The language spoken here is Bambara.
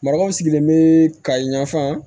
Marakaw sigilen bɛ kayi ɲafa